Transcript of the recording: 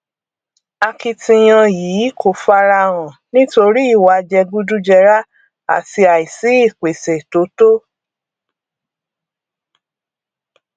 akitiyan yìí kò farahan nítorí ìwà jẹgúdújẹrá àti àìsí ìpèsè tó tó